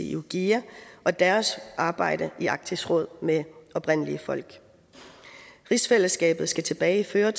iwgia og deres arbejde i arktisk råd med oprindelige folk rigsfællesskabet skal tilbageføre